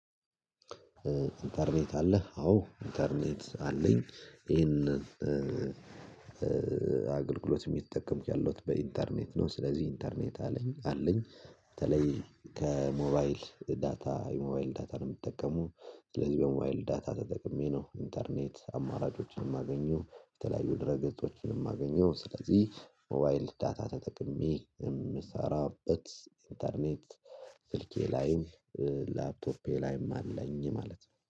ኢንተርኔት አለ አዎ ኢንተርኔት አለኝ ይሄንን አገልግሎት የሚጠቀም ያለሁት በኢንተርኔት ነው። ስለዚህ ኢንተርኔት አለኝ አለኝ በተለይ ከሞባይል ዳታ የሞባይል ዳታ ነው። ምጠቀመው ስለዚህ በሞባይል ዳታ ተጠቅሜ ነው ኢንተርኔት አማራጮችን ማገኘው የተለያዩ ድረ ገጾችን ማገኘው ስለዚህ ሞባይል ዳታ ተጠቅሜ የምሰራበት ኢንተርኔት። ስልኬ ላይ ላፕቶፔ ላይም አለኝ ማለት ነው